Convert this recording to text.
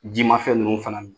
Jimafɛn ninnu fana ni.